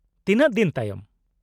- ᱛᱤᱱᱟᱹᱜ ᱫᱤᱱ ᱛᱟᱭᱚᱢ ᱾